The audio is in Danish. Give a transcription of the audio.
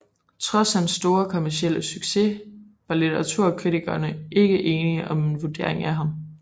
Trods hans store kommercielle succes var litteraturkritikerne ikke enige om en vurdering af ham